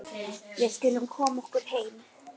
Við skulum koma okkur heim.